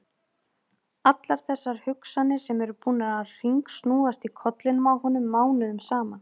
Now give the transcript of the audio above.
Allar þessar hugsanir sem eru búnar að hringsnúast í kollinum á honum mánuðum saman!